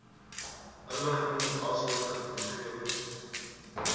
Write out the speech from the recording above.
inligting asook gegewens